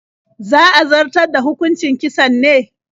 Za a zartar da hukucin kisan ne?